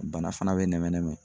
Bana fana bɛ nɛmɛ nɛmɛ.